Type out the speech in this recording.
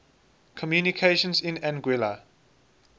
communications in anguilla